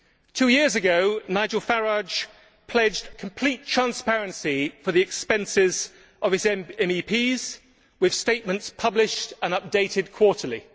Two years ago, Nigel Farage pledged complete transparency for the expenses of his MEPs, with statements published and updated quarterly.